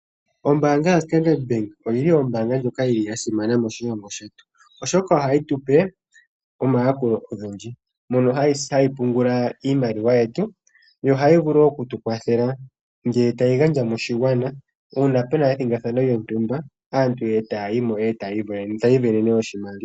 Ombaanga yaStandard Bank oyili ombaanga ndyoka yili yasimana moshilongoo shetu, oshoka ohayi tupe omayakulo ogendji moka hayi pungula iimaliwa yetu yo ohayi vulu oku tukwathela ngele tayi gandja moshigwana una puna ethigathano lyontumba, aantu taya yimo etayi iisindanene oshimaliwa.